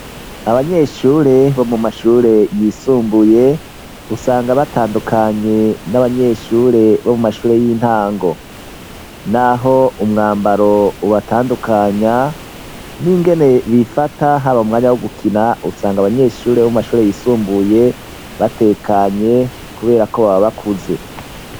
Abanyeshure bo mu mashure yisumbuye, usanga batandukanye n'abanyeshure bo mu mashure y'intango. N'aho umwambaro ubatandukanya, n'ingene bifata haba mwanya wo gukina, usanga abanyeshure bo mu mashure yisumbuye batekanye, kubera ko baba bakuze.